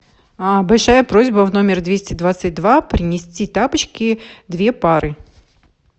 большая просьба в номер двести двадцать два принести тапочки две пары